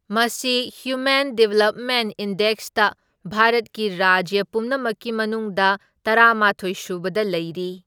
ꯃꯁꯤ human development ꯏꯟꯗꯦꯛꯁꯇ ꯚꯥꯔꯠꯀꯤ ꯔꯥꯖ꯭ꯌ ꯄꯨꯝꯅꯃꯛꯀꯤ ꯃꯅꯨꯡꯗ ꯇꯔꯥꯃꯥꯊꯣꯢ ꯁꯨꯕꯗ ꯂꯩꯔꯤ꯫